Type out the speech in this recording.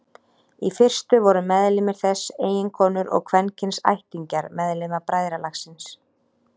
Í fyrstu voru meðlimir þess eiginkonur og kvenkyns ættingjar meðlima bræðralagsins.